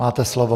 Máte slovo.